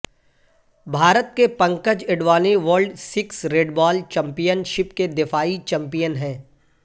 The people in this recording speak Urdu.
بھارت کے Pankaj Advani world six red ball championship کے دفاعی چیمپیئن ہیں